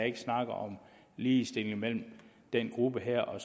ikke snakket om ligestilling mellem den gruppe her og